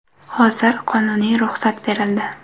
Hozir qonuniy ruxsat berildi.